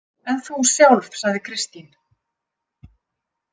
En þú sjálf, sagði Kristín.